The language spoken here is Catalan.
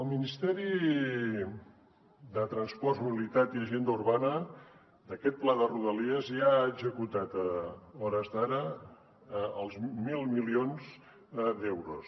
el ministeri de transports mobilitat i agenda urbana d’aquest pla de rodalies ja ha executat a hores d’ara mil milions d’euros